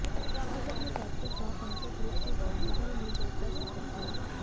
आज अपने पैतृक गांव पहुंचे ध्रुव का ग्रामीणों ने जोरदार स्वागत किया